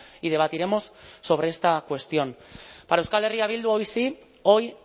y debatiremos sobre esta cuestión para euskal herria bildu hoy sí hoy